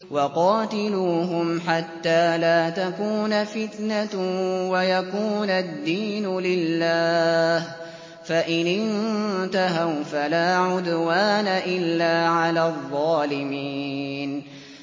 وَقَاتِلُوهُمْ حَتَّىٰ لَا تَكُونَ فِتْنَةٌ وَيَكُونَ الدِّينُ لِلَّهِ ۖ فَإِنِ انتَهَوْا فَلَا عُدْوَانَ إِلَّا عَلَى الظَّالِمِينَ